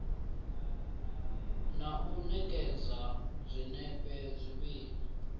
na u ṋekedza zwinepe zwivhili